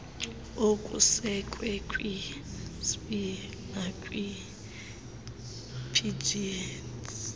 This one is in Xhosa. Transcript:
okusekwe kwinsdp nakwipgds